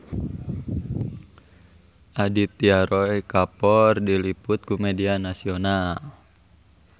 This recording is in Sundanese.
Aditya Roy Kapoor diliput ku media nasional